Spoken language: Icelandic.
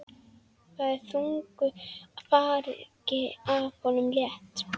Það er þungu fargi af honum létt.